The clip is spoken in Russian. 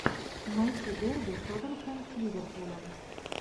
найти дерби тоттенхэм с ливерпулем